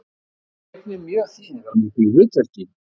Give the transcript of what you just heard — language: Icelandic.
Hún gegnir mjög þýðingarmiklu hlutverki